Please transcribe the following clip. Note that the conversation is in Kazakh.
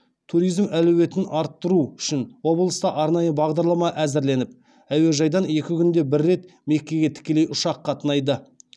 туризм әлеуетін арттыру үшін облыста арнайы бағдарлама әзірленіп әуежайдан екі күнде бір рет меккеге тікелей ұшақ қатынайды